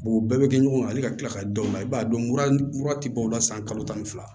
o bɛɛ bɛ kɛ ɲɔgɔn ale ka kila ka da u la i b'a dɔn mura tɛ dɔw la san kalo tan ni fila